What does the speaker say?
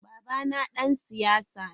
Babana dan siyasa ne.